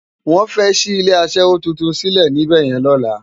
Wòn fè ṣi ilé aṣèwó tútún silé nibèyèn lòlá